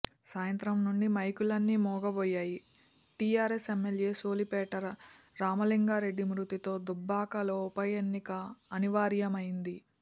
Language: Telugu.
సాయంత్రం నుంచి మైకులన్నీ మూగబోయాయి టీఆర్ఎస్ ఎమ్మెల్యే సోలిపేట రామలింగారెడ్డి మృతితో దుబ్బాకలో ఉపఎన్నిక అనివార్యమైంది